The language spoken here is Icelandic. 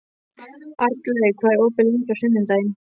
Arnlaug, hvað er opið lengi á sunnudaginn?